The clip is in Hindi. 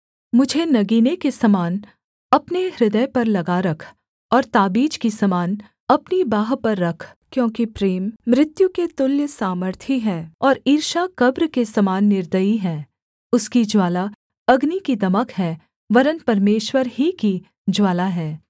मुझे नगीने के समान अपने हृदय पर लगा रख और ताबीज़ की समान अपनी बाँह पर रख क्योंकि प्रेम मृत्यु के तुल्य सामर्थी है और ईर्ष्या कब्र के समान निर्दयी है उसकी ज्वाला अग्नि की दमक है वरन् परमेश्वर ही की ज्वाला है